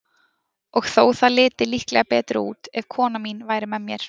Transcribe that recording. Og þó það liti líklega betur út, ef kona mín væri með mér.